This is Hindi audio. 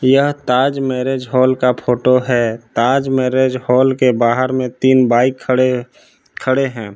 यह ताज मैरिज हॉल का फोटो है ताज मैरिज हॉल के बाहर में तीन बाइक खड़े खड़े हैं।